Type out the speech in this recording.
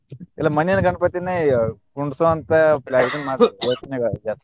ಇಲ್ಲಾ ಮಣ್ಣಿನ ಗಣಪತಿಯನ್ನೇ ಕುಂಡ್ರಸೊ ಅಂತಾ ಇದನ್ನ ಮಾಡ್ತಿವಿ ಯೋಚನೆಗಳ್ ಜಾಸ್ತಿ.